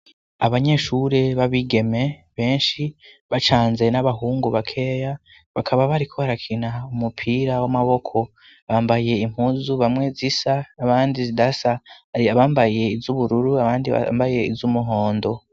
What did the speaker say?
Abanyeshuri b'abigeme benshi bacanze n'abahungu bakeya, bakaba bariko barakina umupira w'amaboko bambaye impuzu, bamwe zisa abandi zidasa, hari abambaye iz'ubururu abandi bambaye iz'umuhondo.